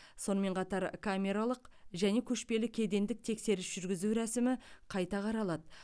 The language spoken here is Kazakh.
сонымен қатар камералық және көшпелі кедендік тексеріс жүргізу рәсімі қайта қаралады